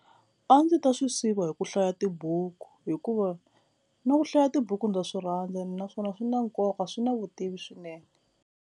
A ndzi ta swi siva hi ku hlaya tibuku hikuva na ku hlaya tibuku ndza swi rhandza naswona swi na nkoka swi na vutivi swinene.